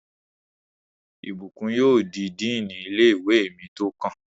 Ìbùkún yóò di díìnì ilé-ìwé mi tó kàn